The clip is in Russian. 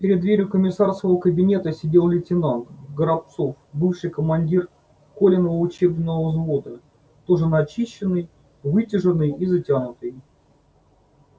перед дверью комиссарского кабинета сидел лейтенант горобцов бывший командир колиного учебного взвода тоже начищенный выутюженный и затянутый